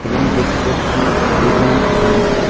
এবং দেখতে পাচ্ছি দু-জন মানুষকে।